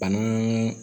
Bana